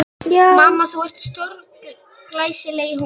Mamma, þú ert stórglæsileg í honum.